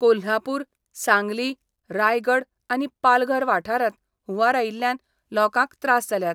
कोल्हापूर, सांगली, रायगड आनी पालघर वाठारांत हुंवार आयिल्ल्यान लोकांक त्रास जाल्यात.